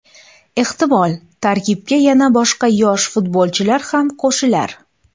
Ehtimol, tarkibga yana boshqa yosh futbolchilar ham qo‘shilar.